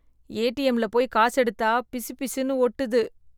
ஏடிஎம்ல போய் காசு எடுத்தா பிசுபிசுன்னு ஒட்டுது